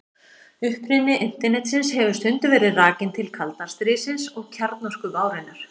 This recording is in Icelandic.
Uppruni Internetsins hefur stundum verið rakinn til kalda stríðsins og kjarnorkuvárinnar.